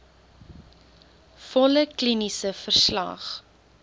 volle kliniese verslag